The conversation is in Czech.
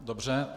Dobře.